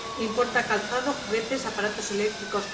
Importa calzado, juguetes, aparatos eléctricos.